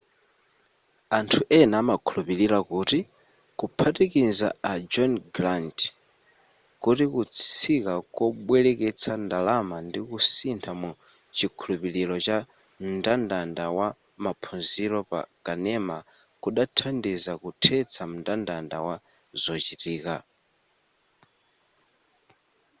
anthu ena amakhulupira kuti kuphatikiza a john grant kuti kutsika kobwereketsa ndalama ndikusintha mu chikhulupiliro cha mndandanda wa maphunziro pa kanema kudanthandiza kuthetsa mndandanda wa zochitika